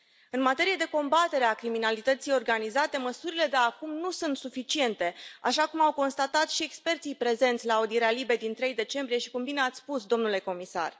În materie de combatere a criminalității organizate, măsurile de acum nu sunt suficiente, așa cum au constatat și experții prezenți la audierea LIBE din 3 decembrie și cum bine ați spus, domnule comisar.